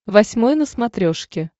восьмой на смотрешке